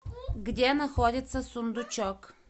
где находится сундучок